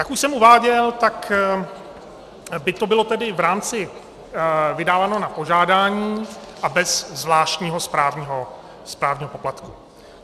Jak už jsem uváděl, tak by to bylo tedy v rámci vydáno na požádání a bez zvláštního správního poplatku.